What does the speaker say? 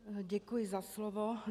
Děkuji za slovo.